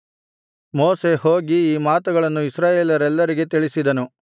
ಮೋಶೆ ಹೋಗಿ ಈ ಮಾತುಗಳನ್ನು ಇಸ್ರಾಯೇಲರೆಲ್ಲರಿಗೆ ತಿಳಿಸಿದನು